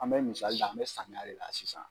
An bɛ misali ta an bɛ samiya de la sisan.